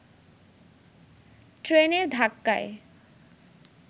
ট্রেনের ধাক্কায়